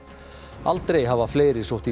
aldrei hafa fleiri sótt í